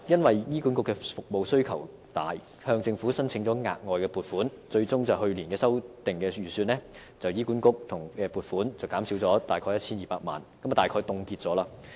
由於服務需求大，醫管局向政府申請額外撥款，最終在去年的修訂預算中，政府對醫管局的撥款減少 1,200 萬元，即大概等於凍結開支。